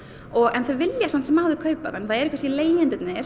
en þau vilja samt sem áður kaupa það eru leigjendur